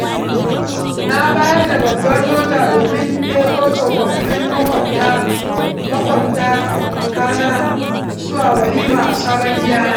Na bayar da babbar mota domin ɗebo tsofaffin maƙwabtakana zuwa walima a sabon gidana.